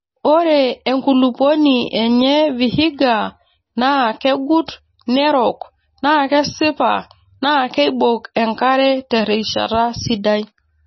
Ore enkulupuoni enye Vihiga naa kegut nerok naa kesipa naa keibok enkare terishata sidai.